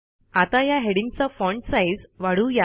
आता या हेडिंग्जचा फाँट साईज वाढवू या